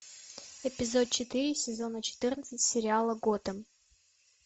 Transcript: эпизод четыре сезона четырнадцать сериала готэм